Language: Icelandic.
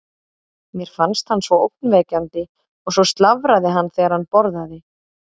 Mér fannst hann ógnvekjandi og svo slafraði hann þegar hann borðaði.